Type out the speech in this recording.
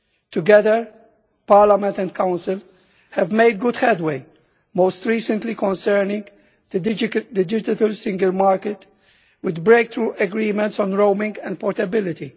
Together, Parliament and Council have made good headway most recently concerning the digital single market, with breakthrough agreements on roaming and portability.